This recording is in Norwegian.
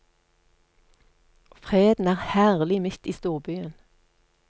Freden er herlig midt i storbyen.